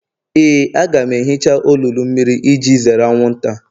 Éè, a ga m ehicha olulu mmiri iji zere anwụnta